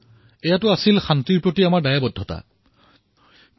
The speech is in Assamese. এয়াই আমাৰ শান্তিৰ প্ৰতি প্ৰতিশ্ৰুতি আছিল